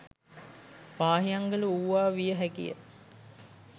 පාහියන්ගල වූවා විය හැකි ය.